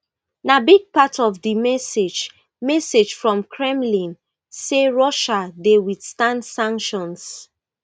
na big part of di message message from kremlin say russia dey withstand sanctions